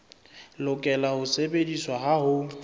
lokela ho sebediswa ha ho